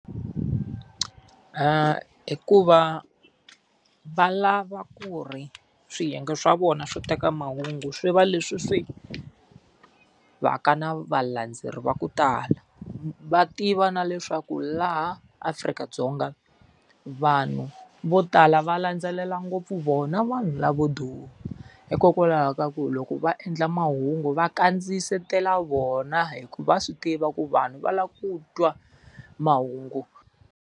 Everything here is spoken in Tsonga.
I ku va, lava ku ri swiyenge swa vona swo teka mahungu swi va leswi swi va ka na valandzeleri va ku tala. Va tiva na leswaku laha Afrika-Dzonga vanhu vo tala va landzelela ngopfu vona vanhu lavo duma. Hikokwalaho ka ku loko va endla mahungu va kandziyisetela vona hikuva swi tiva ku vanhu va lava ku twa mahungu.